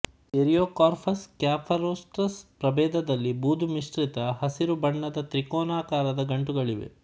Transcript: Eriocarpus ಸ್ಕ್ಯಾಫರೊಸ್ಟ್ರಸ್ ಪ್ರಭೇದದಲ್ಲಿ ಬೂದುಮಿಶ್ರಿತ ಹಸಿರು ಬಣ್ಣದ ತ್ರಿಕೋನಾಕಾರದ ಗಂಟುಗಳಿವೆ